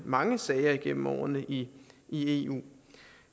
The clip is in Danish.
mange sager igennem årene i i eu